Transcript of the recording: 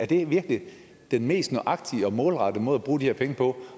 det virkelig den mest nøjagtige og målrettede måde at bruge de her penge på